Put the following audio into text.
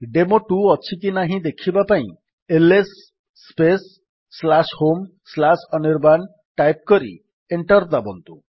ଡେମୋ2 ଅଛିକି ନାହିଁ ଦେଖିବା ପାଇଁ ଏଲଏସ୍ ସ୍ପେସ୍ homeanirban ଟାଇପ୍ କରି ଏଣ୍ଟର୍ ଦାବନ୍ତୁ